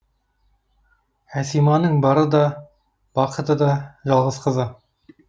әсиманың бары да бақыты да жалғыз қызы